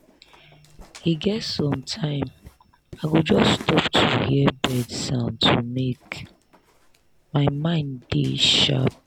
e get sometime i go just stop to hear bird sound to make my mind dey sharp.